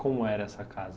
Como era essa casa?